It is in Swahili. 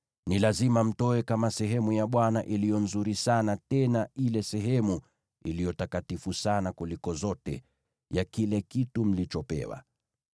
Ni lazima mtoe kama sehemu ya Bwana iliyo nzuri sana tena ile sehemu iliyo takatifu sana kuliko zote ya kile kitu mlichopewa.’